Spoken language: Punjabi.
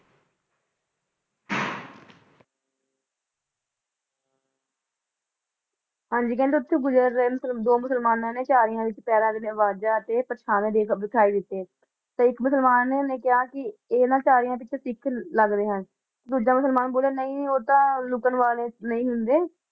ਹਾਜੀ ਉਥੇ ਦੋ ਗੁਜਰ ਰਹਿੰਦੇ ਦੋ ਮੁਸਲਮਾਨਾ ਨੇ ਝਾੜਿਆ ਵਿਚ ਪਹੇਰਾ ਦਿਦੀਆ ਅਵਾਜਾ ਸੁਣਿਆ ਇਕ ਮੁਸਲਮਾਨ ਨੇ ਕਹਾ ਇਥੇ ਇਹਨਾਝਾੜਿਆ ਵਿੱਚ ਸਿਖ ਲਗਦੇ ਹਨ ਦੂਸਰਾ ਮੁਸਲਮਾਨ ਬੋਲਿਆ ਸਿਖ ਲੁਕਣ ਵਾਲੀਆ ਵਿਚੋ ਨਹੀ ਹੁੰਦੇ ਉਹ ਤਾ ਸਾਹਮਣਾ